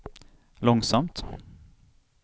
långsamt